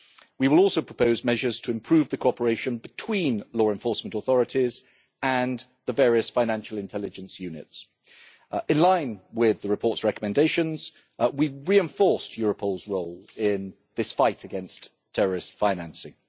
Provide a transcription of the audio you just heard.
We will also propose measures to improve the cooperation between law enforcement authorities and the various financial intelligence units. In line with the report's recommendations, we have reinforced Europol's role in this fight against terrorist financing.